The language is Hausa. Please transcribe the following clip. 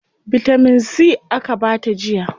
Bitamin C aka bata jiya.